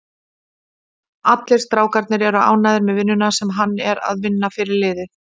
Allir strákarnir eru ánægður með vinnuna sem hann er að vinna fyrir liðið.